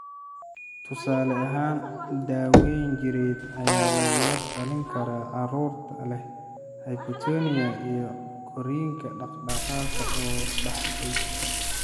Tusaale ahaan, daawayn jireed ayaa lagula talin karaa carruurta leh hypotonia iyo korriinka dhaqdhaqaaqa oo daahday.